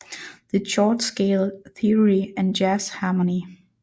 The Chord Scale Theory and Jazz Harmony